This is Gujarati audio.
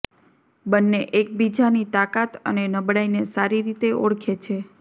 બન્ને એકબીજાની તાકાત અને નબળાઈને સારી રીતે ઓળખે છે